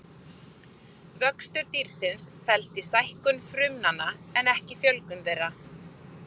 Vöxtur dýrsins felst í stækkun frumnanna en ekki fjölgun þeirra.